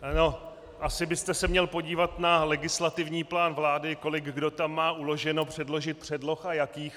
Asi byste se měl podívat na legislativní plán vlády, kolik kdo tam má uloženo předložit předloh a jakých.